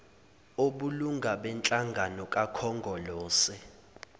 obulunga benhlangano kakhongolose